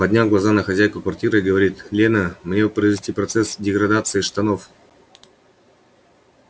подняв глаза на хозяйку квартиры и говорит лена мне бы произвести процесс деградации штанов